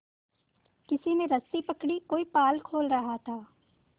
किसी ने रस्सी पकड़ी कोई पाल खोल रहा था